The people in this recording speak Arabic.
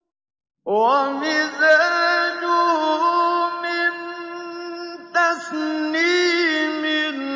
وَمِزَاجُهُ مِن تَسْنِيمٍ